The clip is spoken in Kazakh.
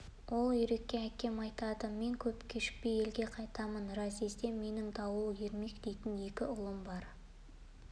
ол үйрекке әкем айтады мен көп кешікпей елге қайтамын разъезде менің дауыл ермек дейтін екі балам бар